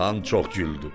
Xan çox güldü.